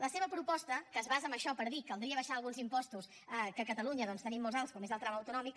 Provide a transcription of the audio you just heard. la seva proposta que es basa en això per dir caldria abaixar alguns impostos que a catalunya tenim molt alts com és el tram autonòmic